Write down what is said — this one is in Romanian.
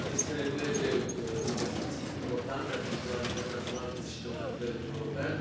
Este nevoie de investiții importante, atât la nivel național, cât și la nivel european.